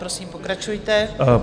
Prosím, pokračujte.